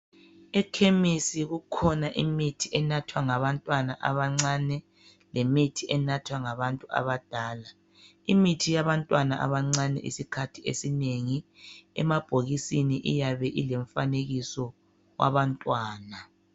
Ekhemisi kukhona imithi enathwa ngabantwana abancane lemithi enathwa ngabantu abadala imithi yabantwana abancane isikhathi esinengi emabhokisini iyabe ilomfanekiso wabantwana.